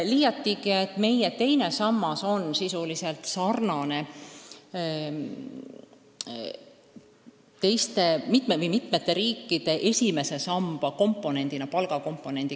Ka on meie teine sammas sisuliselt sarnane mitme riigi esimese sambaga, kuhu kuulub palgakomponent.